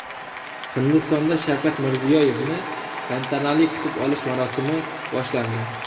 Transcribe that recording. Hindistonda Shavkat Mirziyoyevni tantanali kutib olish marosimi boshlandi .